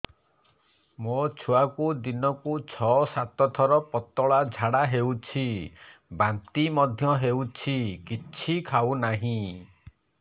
ମୋ ଛୁଆକୁ ଦିନକୁ ଛ ସାତ ଥର ପତଳା ଝାଡ଼ା ହେଉଛି ବାନ୍ତି ମଧ୍ୟ ହେଉଛି କିଛି ଖାଉ ନାହିଁ